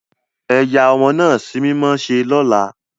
Eyà ọmọ naa símímọ ṣe lola!